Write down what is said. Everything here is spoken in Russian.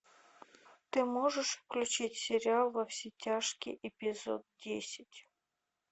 ты можешь включить сериал во все тяжкие эпизод десять